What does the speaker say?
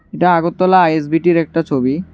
এটা আগরতলা আইএসবিটির একটা ছবি।